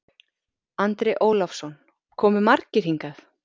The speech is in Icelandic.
Andri Ólafsson: Komu margir hingað?